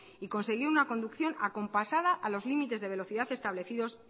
y conseguir una conducción acompasada a los limites de velocidad establecidos